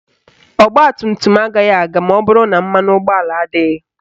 Ọgbatumtum agaghị aga maọbụrụ na mmanụ ụgbọala adịghị